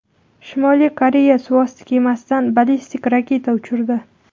Shimoliy Koreya suvosti kemasidan ballistik raketa uchirdi.